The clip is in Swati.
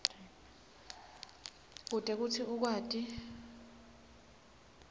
kute kutsi ukwati